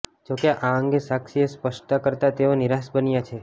જો કે આ અંગે સાક્ષીએ સ્પષ્ટતા કરતા તેઓ નિરાશ બન્યા છે